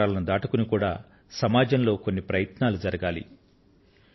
పురస్కారాలను దాటుకుని కూడా సమాజంలో కొన్ని ప్రయత్నాలు జరగాలి